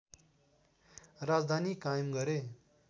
राजधानी कायम गरे